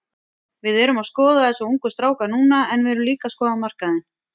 Við erum að skoða þessa ungu stráka núna en við erum líka að skoða markaðinn.